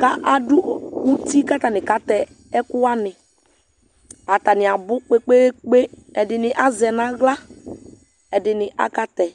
k'ado uti k'atani katɛ ɛkò wani atani abò kpekpekpe ɛdini azɛ n'ala ɛdini aka tɛ